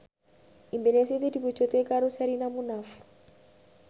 impine Siti diwujudke karo Sherina Munaf